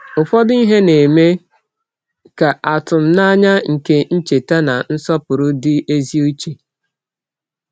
Ụfọdụ ihe na-eme ka atụmanya nke ncheta na nsọpụrụ dị ezi uche.